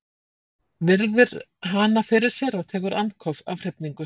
Virðir hana fyrir sér og tekur andköf af hrifningu.